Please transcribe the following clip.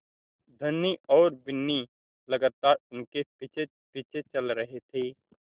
धनी और बिन्नी लगातार उनके पीछेपीछे चल रहे थे